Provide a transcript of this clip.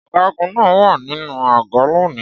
Ọ̀gágun náà wà nínú àgọ́ lónìí.